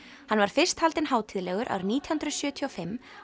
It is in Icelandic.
hann var fyrst haldinn hátíðlegur árið nítján hundruð sjötíu og fimm